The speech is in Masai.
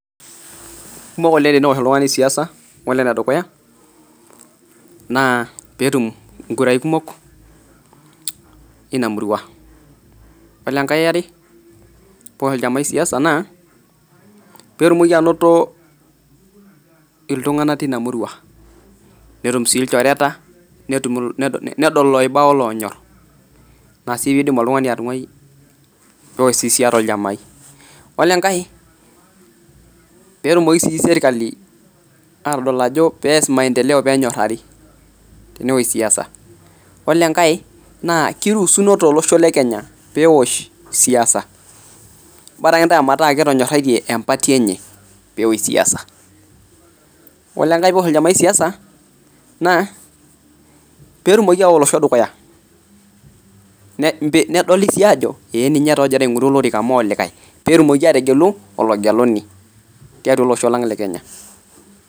Kisidai oleng' tewosh oltung'ani siyasa amu naa pee etum inkurai kumok eina murua, ore enkae yare pee ewosh oljaamai siyasa naa, pee etumoki anota ilchoreta , neyiolou iltunganak oiba, ore enkae naa ppee etumoki sii serikali nenyorari tenewosh siasa ore enkae naa kiruusuno tolosho lekenya pee ewosh siyasa, baraka ake meetae etanyoratie epti enye nedoli sii ajo ninye taaninye pee etumokini aishoo eji metaa likae.